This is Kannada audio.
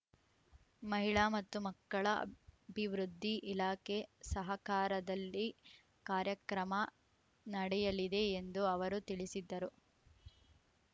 ಮಹಿಳಾ ಮತ್ತು ಮಕ್ಕಳ ಅಭಿವೃದ್ಧಿ ಇಲಾಖೆ ಸಹಕಾರದಲ್ಲಿ ಕಾರ್ಯಕ್ರಮ ನಡೆಯಲಿದೆ ಎಂದು ಅವರು ತಿಳಿಸಿದರು